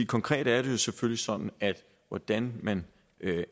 konkret er det jo selvfølgelig sådan at hvordan man